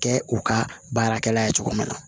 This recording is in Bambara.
Kɛ u ka baarakɛla ye cogo min na